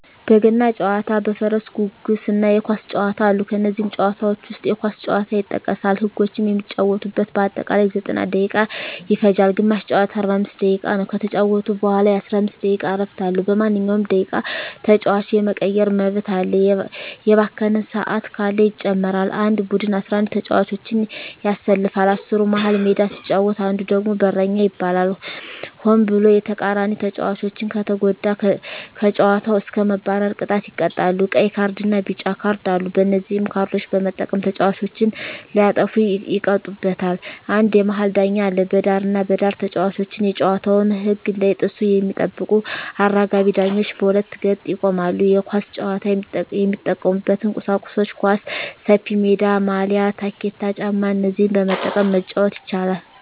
በገና ጨዋታ በፈረስ ጉግስ እና የኳስ ጨዋታ አሉ ከነዚህም ጨዋታዎች ዉስጥ የኳስ ጨዋታ ይጠቀሳል ህጎችም የሚጫወቱበት በአጠቃላይ 90ደቂቃ ይፈጃል ግማሽ ጨዋታ 45 ደቂቃ ነዉ ከተጫወቱ በኋላ የ15 ደቂቃ እረፍት አለዉ በማንኛዉም ደቂቃ ተጫዋች የመቀየር መብት አለ የባከነ ሰአት ካለ ይጨመራል አንድ ቡድን 11ተጫዋቾችን ያሰልፋል አስሩ መሀል ሜዳ ሲጫወት አንዱ ደግሞ በረኛ ይባላል ሆን ብሎ የተቃራኒተጫዋቾችን ከተጎዳ ከጨዋታዉ እስከ መባረር ቅጣት ይቀጣሉ ቀይ ካርድና ቢጫ ካርድ አሉ በነዚህ ካርዶች በመጠቀም ተጫዋቾች ሲያጠፉ ይቀጡበታል አንድ የመሀል ዳኛ አለ በዳርና በዳር ተጫዋቾች የጨዋታዉን ህግ እንዳይጥሱ የሚጠብቁ አራጋቢ ዳኞች በሁለት ገጥ ይቆማሉ የኳስ ጫዋች የሚጠቀሙበት ቁሳቁሶች ኳስ፣ ሰፊሜዳ፣ ማልያ፣ ታኬታ ጫማ እነዚህን በመጠቀም መጫወት ይቻላል